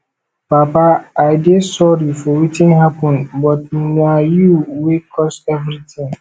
papa i dey sorry for wetin happen but na you wey cause everything